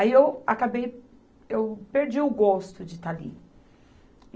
Aí eu acabei eu perdi o gosto de estar ali.